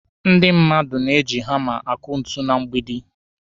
Ndị mmadụ na-eji hama akụ ntu na mgbidi.